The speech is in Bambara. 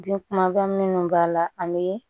Bi kuma daminɛw b'a la an be